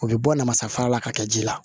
U bɛ bɔ namasafara la ka kɛ ji la